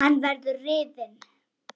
Hann verður rifinn.